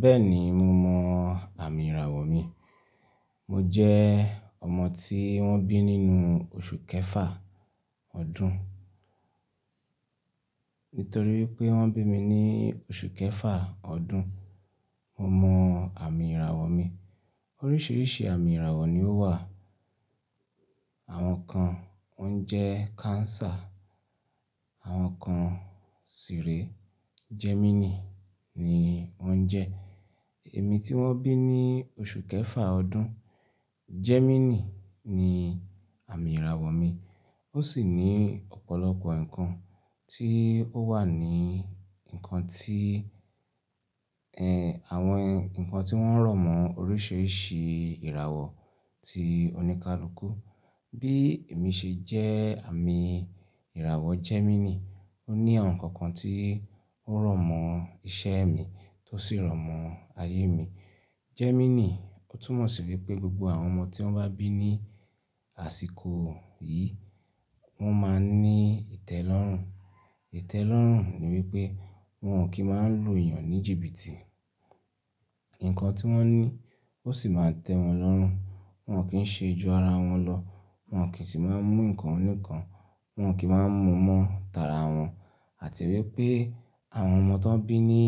Bẹ́ẹ̀ni mo mọ̀ àmì ìràwọ̀ mi. Mo jẹ́ ọmọ tí wọ́n bí nínú oṣù kẹfà ọdún. Nítorí pé wọ́n bí mi ní oṣù kẹfà ọdún, mo mọ̀ àmì ìràwọ̀ mi. Oríṣiríṣi àmì ìràwọ̀ ni ó wà. Àwọn kan wọ́n jẹ́ cancer, àwọn kan sì rè Gemini ni wọ́n jẹ́. Èmi tí wọ́n bí ní oṣù kẹfà ọdún, Gemini ni àmì ìràwọ̀ mi. Ó sì ní ọ̀pọ̀lọpọ̀ nǹkan tí ó wà ní nǹkan tí, ẹ, àwọn nǹkan tí wọ́n rọ̀mọ́ oríṣiríṣi ìràwọ̀ ti oníkálukú. Bí èmi ṣe jẹ́ àmì ìràwọ̀ Gemini, ó ní àwọn nǹkan kan tí ó rọ̀mọ́ iṣẹ́ mi tó sì rọ̀mọ́ ayé mi. Gemini, ó túmọ̀ sí pé gbogbo àwọn ọmọ tí wọ́n bá bí ní àsìkò yìí, wọn máa ní ìtẹ́lọ́rùn. Ìtẹ́lọ́rùn ni wípé wọn ò kí máa ń lu èèyàn ní jìbìtì. Nǹkan tí wọ́n ní ó sì máa tẹ́ wọn lọ́rùn. Wọn ò kí ń ṣe ju ara wọn lọ, wọn ò kí sì máa ń mú nǹkan oníkan, wọn ò kí máa ń mú mọ́ tààrà wọn. Àti wípé àwọn ọmọ tó bí ní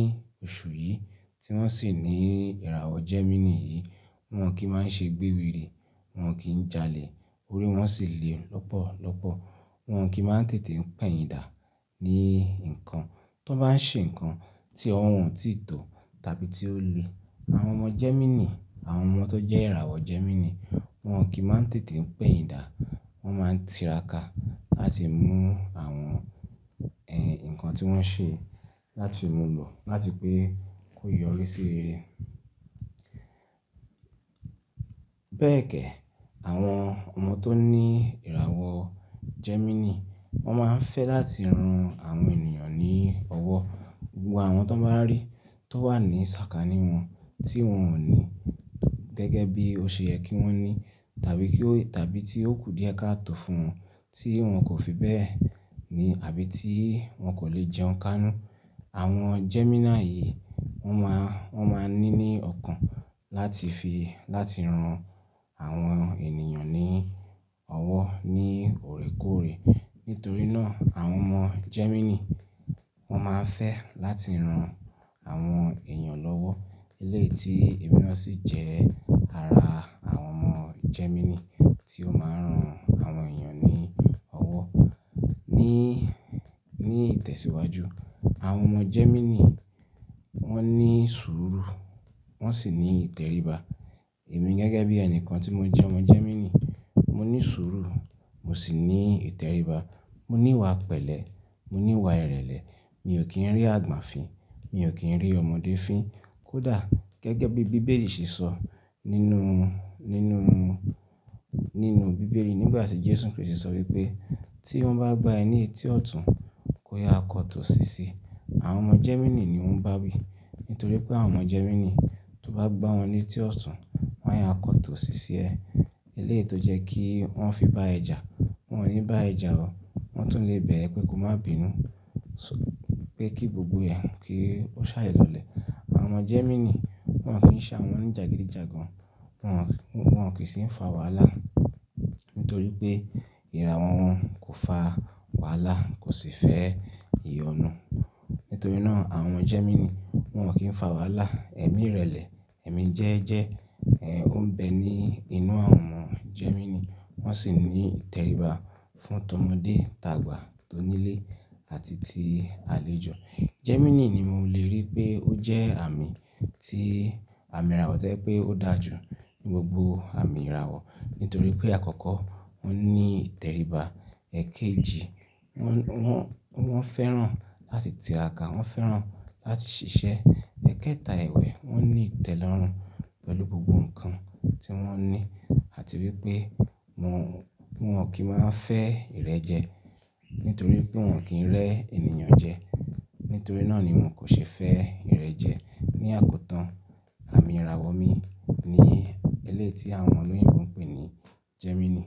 oṣù yìí tí wọ́n sì ní ìràwọ̀ Gemini yìí, wọn ò kí máa ń ṣe gbéwiri, wọn ò kí ń jalè, orí wọn sì le lọ́pọ̀lọ́pọ̀. Wọn ò kí máa ń tètè pẹ̀yìnda ní nǹkan. Tí wọ́n bá ń ṣe nǹkan tí ọ̀wọ́n ò tíì tó tàbí tí ó le. Àwọn ọmọ Gemini, àwọn ọmọ tó jẹ́ ìràwọ̀ Gemini wọn ò kí máa ń tètè pẹ̀yìnda, wọn máa ń tiraka àti mú àwọn, ẹ, nǹkan tí wọ́n ṣe láti mú lọ, láti pé kó yọrí sí rere. Bẹ́ẹ̀kẹ́, àwọn ọmọ tó ní ìràwọ̀ Gemini, wọ́n máa ń fẹ́ láti ran àwọn ènìyàn ní ọwọ́. Gbogbo àwọn tó bá rí tó wà ní sàkání wọn tí wọn ò ní gẹ́gẹ́ bí ó ṣe yẹ kí wọ́n ní tàbí kí ó-- tàbí tí ó kù díẹ̀ káàtò fún wọn tí wọn kò fi bẹ́ẹ̀ ni àbí tí wọn kò le jẹun káánú. Àwọn Gemini yìí wọ́n máa, wọ́n máa ní ní ọkàn láti fi láti ran àwọn ènìyàn ní ọwọ́ ní òrékòóre. Nítorí náà àwọn ọmọ Gemini wọn máa ń fẹ́ láti ran àwọn èèyàn lọ́wọ́. Ilé tí ẹ̀mí náà sì jẹ́ ara àwọn ọmọ Gemini tí ó máa ń ran àwọn èèyàn ní ọwọ́. Ní, ní ìtẹ̀síwájú, àwọn ọmọ Gemini wọ́n ní sùúrù, wọ́n sì ní ìtẹríba. Wọn ò kí ń ṣe ju ara wọn lọ, wọn ò kí sì máa ń mú nǹkan oníkan, wọn ò kí máa ń mú mọ́ tààrà wọn. Ní ìwà pẹ̀lẹ́, ní ìwà ìrẹ̀lẹ̀, mi ò kì nrin àgbà fín, mi ò kì n rin ọmọdé fín. Kò dá gẹ́gẹ́bí bíbélì ṣe sọ, nínú, nínú, nínú bíbélì nígbàtí Jesu Kristi sọ wípé tí wọ́n bá gbà ẹ ní etí ọ̀tún, kò yà kó tì òsì sí. Àwọn ọmọ Gemini ni wọ́n bá wi nítorí pé àwọn ọmọ Gemini tó bá gbá wọn ní etí ọ̀tún, wọn yá akọ tó sì sí ẹ. Eléyí tó jẹ́ kí wọ́n fi bá ẹ jà, wọn ò ní bá ẹ jà ọ́, wọ́n tún le bẹ̀ ẹ pé kó má bínú, pé kí gbogbo ẹ, kí ó ṣá lọlẹ̀. Àwọn ọmọ Gemini wọn ò kí ń ṣa wọn ní jagidijagan, wọn ò kí sì ń fa wàhálà. Nítorí pé ìràwọ̀ wọn kò fa wàhálà kò sì fẹ́ ìyọnu. Nítorí náà àwọn Gemini wọn ò kí ń fa wàhálà. Ẹ̀mi ìrẹ̀lẹ̀, ẹ̀mi jẹ́ẹ́jẹ́, ẹ, ó ń bẹ ní inú àwọn ọmọ Gemini. Wọ́n sì ní ìtẹríba fún tọmọdé, tàgbà, tó nílé àti ti àlejò. Gemini ni mo lè rí pé ó jẹ́ àmì tí àmì ìràwọ̀ tẹ́ jẹ́ wípé ó dà jù ní gbogbo àmì ìràwọ̀. Nítorí pé àkọ́kọ́ wọn ní ìtẹríba. Ẹ̀kejì, wọn, wọn, wọn fẹ́ràn láti tiraka, wọn fẹ́ràn láti ṣiṣẹ́. Ẹ̀kẹta ẹ̀wẹ̀, wọn ní ìtẹ́lọ́rùn pẹ̀lú gbogbo nǹkan tí wọ́n ní àti wípé wọn ò kí máa ń fẹ́ ìrẹ́jẹ. Nítorí pé wọn ò kí ń rẹ́ ènìyàn jẹ. Nítorí náà ni wọn kò ṣe fẹ́ ìrẹ́jẹ. Ni àkótán, àmì ìràwọ̀ mi ni eléyí ti àwọn ọmọ oloyinbo ń pè ní Gemini.